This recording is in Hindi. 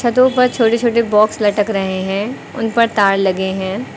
छतो पर छोटे-छोटे बॉक्स लटक रहे हैं उन पर तार लगे हैं।